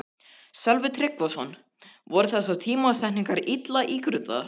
Sölvi Tryggvason: Voru þessar tímasetningar illa ígrundaðar?